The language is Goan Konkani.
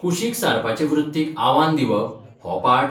कुशीक सारपाचे वृत्तीक आव्हान दिवप' हो पाठ?